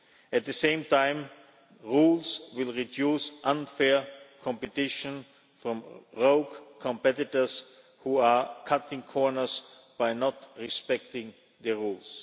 At the same time, rules will reduce unfair competition from rogue competitors who are cutting corners by not respecting the rules.